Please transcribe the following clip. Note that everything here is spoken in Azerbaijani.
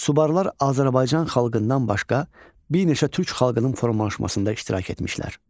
Subarlar Azərbaycan xalqından başqa bir neçə türk xalqının formalaşmasında iştirak etmişlər.